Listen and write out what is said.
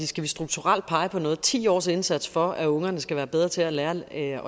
skal vi strukturelt pege på noget at ti års indsats for at ungerne skal være bedre til at lære at